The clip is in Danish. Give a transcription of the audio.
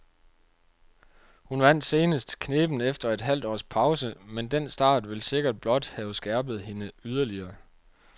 Hun vandt senest knebent efter et halvt års pause, men den start vil sikkert blot have skærpet hende yderligere.